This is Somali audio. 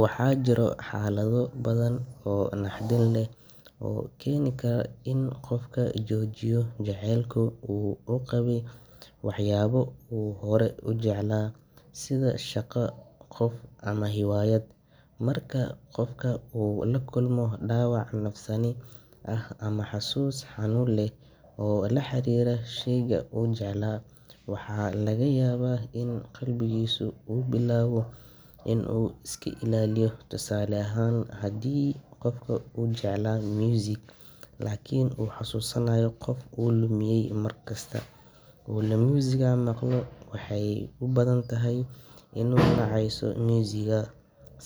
Waxaa jira xaalado badan oo naxdin leh oo keeni kara in qofku joojiyo jacaylka uu u qabay waxyaabo uu horey u jeclaa, sida shaqo, qof, ama hiwaayad. Marka qofka uu la kulmo dhaawac nafsaani ah ama xusuus xanuun leh oo la xiriirta sheyga uu jeclaa, waxaa laga yaabaa in qalbigiisu uu bilaabo inuu iska ilaaliyo. Tusaale ahaan, haddii qof uu jeclaa muusig laakiin uu xasuusanayo qof uu lumiyay markasta oo uu muusigga maqlo, waxay u badan tahay inuu nacayso muusigga.